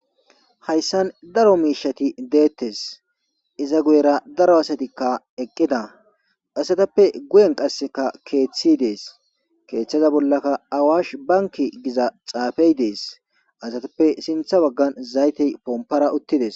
Hayssan daro miishati deettes iza guyera daro asatikka eqqida asatappe guyen qasseka keeththi dees keeththaza bollaka awaash banki giza xaafey dees asatappe sintha waggan zaytey pompara uttides.